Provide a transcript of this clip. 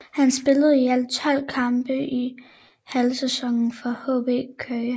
Han spillede i alt tolv kampe i halvsæsonen for HB Køge